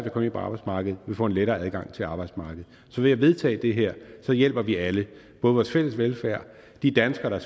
at komme ind på arbejdsmarkedet vil få en lettere adgang til arbejdsmarkedet så ved at vedtage det her hjælper vi alle både vores fælles velfærd de danskere der